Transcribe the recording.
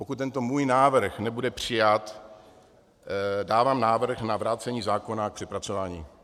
Pokud tento můj návrh nebude přijat, dávám návrh na vrácení zákona k přepracování.